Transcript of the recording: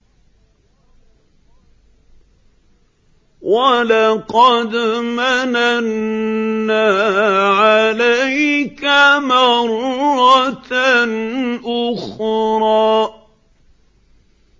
وَلَقَدْ مَنَنَّا عَلَيْكَ مَرَّةً أُخْرَىٰ